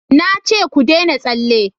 na ce ku dena tsalle!